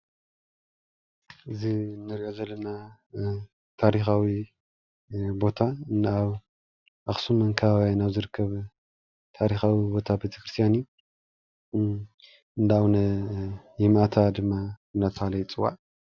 እዚ እንሪኦ ዘለና ታሪካዊ ቦታ ኣብ ኣክሱምን ኣከባቢ ዝርከብ ታሪካዊ ቦታ ቤተ ክርስትያን እዩ እንዳ ኣቡነ የማእታ ድማ እንዳተባሃለ ይፅዋዕ፡፡